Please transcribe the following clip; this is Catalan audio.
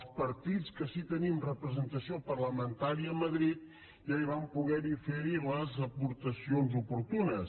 els partits que sí tenim representació parlamentària a madrid ja hi vam poder fer les aportacions oportunes